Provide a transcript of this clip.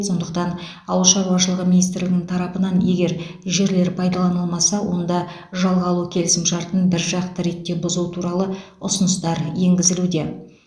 сондықтан ауыл шаруашылығы министрлігінің тарапынан егер жерлер пайдаланылмаса онда жалға алу келісімшартын біржақты ретте бұзу туралы ұсыныстар енгізілуде